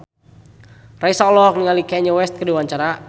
Raisa olohok ningali Kanye West keur diwawancara